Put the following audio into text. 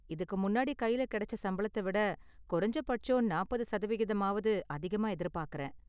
இதுக்கு முன்னாடி கையில் கிடைச்ச சம்பளத்த விட குறைஞ்ச பட்சம் நாற்பது சதவிகிதம்மாவது அதிகமா எதிர்பாக்கறேன்.